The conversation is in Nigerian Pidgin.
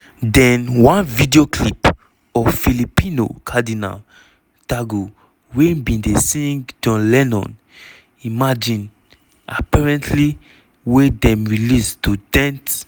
den one video clip of filipino cardinal tagle wey bin dey sing john lennon imagine apparently wey dem release to dent